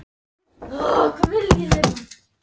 Bresi, kanntu að spila lagið „Ólína og ég“?